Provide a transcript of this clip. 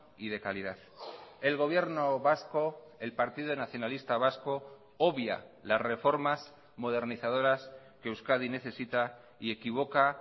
y de calidad el gobierno vasco el partido nacionalista vasco obvia las reformas modernizadoras que euskadi necesita y equivoca